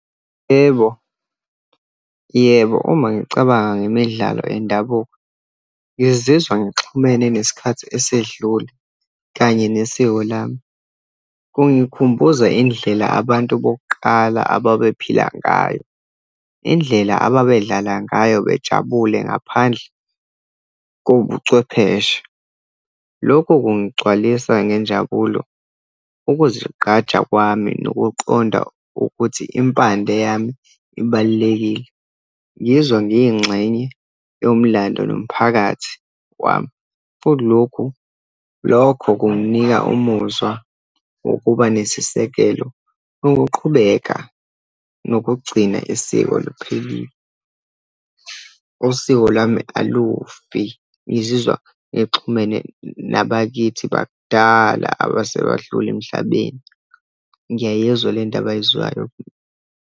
Yebo, yebo, uma ngicabanga ngemidlalo yendabuko, ngizizwa ngixhumene nesikhathi esedlule, kanye nesiko lami. Kungikhumbuza indlela abantu bokuqala ababephila ngayo, indlela abebedlala ngayo, bejabule ngaphandle kobuchwepheshe. Lokhu, kungigcwalisa ngenjabulo, ukuzigqaja kwami, nokuqonda ukuthi impande yami ibalulekile. Ngizwa ngiyingxenye yomlando nomphakathi wami. Kulokhu, lokho kunginika umuzwa wokuba nesisekelo, nokuqhubeka nokugcina isiko liphelile. Usiko lwami alufi, ngizizwa ngixhumene nabakithi bakudala abase badlula emhlabeni. Ngiyayizwa le nto abayizwayo.